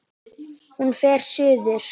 Hún fer suður.